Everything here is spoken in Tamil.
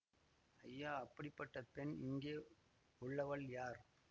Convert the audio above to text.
ஐயா அப்படிப்பட்ட பெண் இங்கே உள்ளவள் யார்